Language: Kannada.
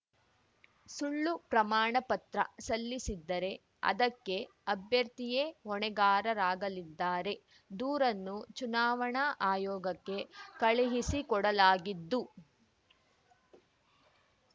ಸುಳ್ಳು ಪ್ರಮಾಣಪತ್ರ ಸಲ್ಲಿಸಿದ್ದರೆ ಅದಕ್ಕೆ ಅಭ್ಯರ್ಥಿಯೇ ಹೊಣೆಗಾರರಾಗಲಿದ್ದಾರೆ ದೂರನ್ನು ಚುನಾವಣಾ ಆಯೋಗಕ್ಕೆ ಕಳುಹಿಸಿಕೊಡಲಾಗಿದ್ದು